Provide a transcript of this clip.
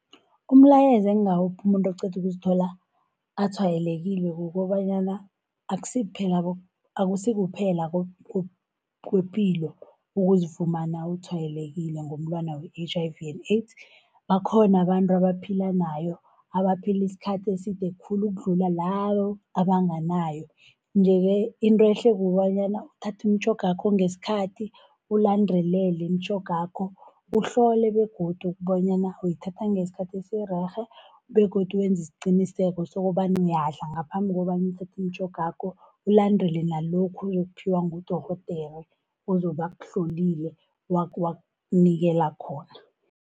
Umlayezo engawupha umuntu oqeda ukuzithola atshwayelekile, kukobanyana akusikuphela kwepilo ukuzifumana utshwayelekile ngomulwana we-H_I_V and AIDS bakhona abantu abaphila nayo, abaphila isikhathi eside khulu ukudlula labo abanganayo. Nje-ke intwehle kukobanyana uthathe imitjhogakho ngesikhathi, ulandelele imitjhogakho uhlole begodu bonyana uyithatha ngesikhathi esirerhe, begodu wenze isiqiniseko sokobana uyadla ngaphambi kobana uthathe imitjhogakho, ulandele nalokhu oyokuphiwa ngudorhodere ozoba akuhlolile wakunikela khona.